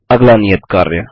अब अगला नियत कार्य